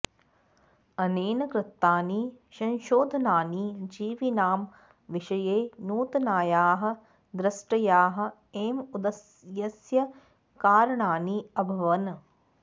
अनेन कृतानि संशोधनानि जीविनां विषये नूतनायाः दृष्ट्याः एव उदयस्य कारणानि अभवन्